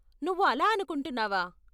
నువ్వు అలా అనుకుంటున్నావా?